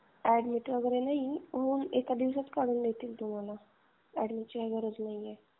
Admit वगैरे नाही. एका दिवसातच काढून देतील. तुम्हाला अॅडमिटची काही गरज नाही.